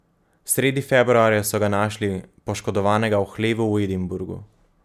Sredi februarja so ga našli poškodovanega v hlevu v Edinburgu.